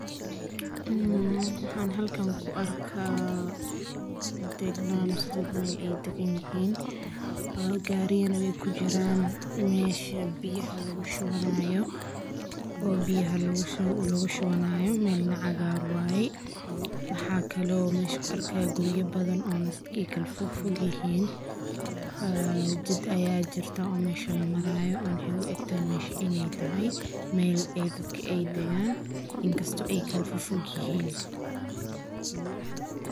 Maxaan halkan kuarkaa degnaan mise degme ey daganyihin oo gaariya neh ey kujiraan mesha biyaha lagushubanaayo oo biyaha logushubanayo mel na cagaar waye maxaa kale oo mesh kuarkaa guriyo badhan oo kala fogyihin jid ayaa jirto oo mesha lamarayo waxey uegtahay mesha in ey tahy meel ee dadki ey dagaan in kasto ey kala fofogyihiin.